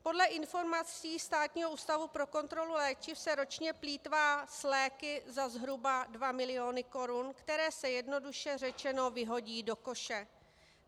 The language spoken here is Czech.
Podle informací Státního ústavu pro kontrolu léčiv se ročně plýtvá s léky za zhruba dva miliony korun, které se jednoduše řečeno vyhodí do koše.